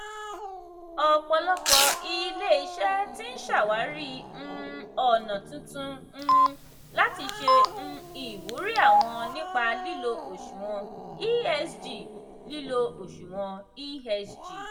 ọ̀pọ̀lọpọ̀ ilé-iṣẹ́ ti ń ṣàwárí um ọ̀nà titun um láti ṣe um ìwúrí àwọn nípa lílo òṣùwọ̀n esg. lílo òṣùwọ̀n esg.